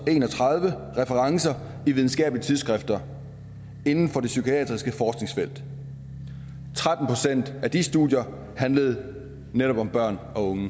en og tredive referencer i videnskabelige tidsskrifter inden for det psykiatriske forskningsfelt tretten procent af de studier handlede netop om børn og unge